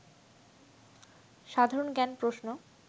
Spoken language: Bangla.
সাধারণ জ্ঞান প্রশ্ন